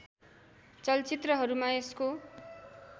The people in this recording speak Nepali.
चलचित्रहरूमा यसको